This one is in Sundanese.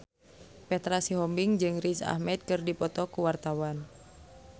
Petra Sihombing jeung Riz Ahmed keur dipoto ku wartawan